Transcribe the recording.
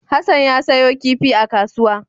Hassan ya sayo kifi a kasuwa.